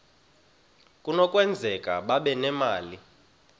kunokwenzeka babe nemali